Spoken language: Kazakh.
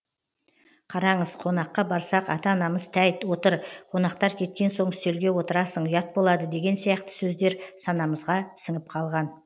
қараңыз қонаққа барсақ ата анамыз тәйт отыр қонақтар кеткен соң үстелге отырасын ұят болады деген сияқты сөздер санамызға сіңіп қалған